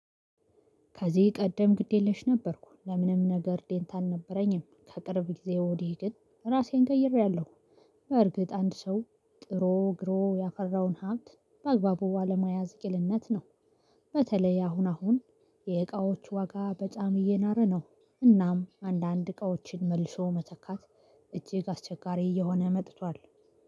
ከዚህ ቀደም ግድ የለሽ ነበርኩ ለምንም ነገር ዴንታ አልነበረኝም ከቅርብ ጊዜ ወዲህ ግን ራሴን ቀይሬያለሁ። በእርግጥ አንድ ሰው ጥሮ ግሮ ያፈራውን ሀብት በአግባቡ አለማያዝ ቂልነት ነው። በተለይ አሁን አሁን የእቃዎች ዋጋ በጣም እየናረ ነው። እናም አንዳንድ እቃዎችን መልሶ መተካት እጅግ አስቸጋሪ እየሆነ መጥቷል